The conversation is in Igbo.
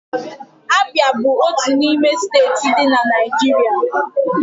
Abia bụ otú n'ime steeti dị na Naijiria.